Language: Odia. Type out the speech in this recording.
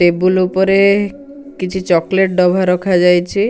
ଟେବୁଲ୍ ଉପରେ କିଛି ଚକଲେଟ୍ ଡବା ରଖା ଯାଇଛି ।